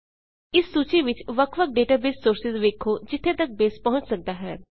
ਇਸ ਸੂਚੀ ਵਿੱਚ ਵੱਖ ਵੱਖ ਡੇਟਾਬੇਸ ਸੋਰਸਿਜ਼ ਵੇਖੋ ਜਿੱਥੇ ਤੱਕ ਬੇਸ ਪਹੁੰਚ ਸੱਕਦਾ ਹੈ